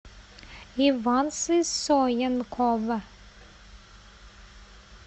иван сысоенков